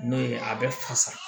N'o ye a bɛ fasa